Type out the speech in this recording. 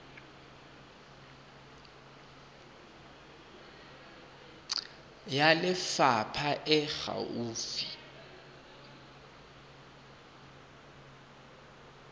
ya lefapha e e gaufi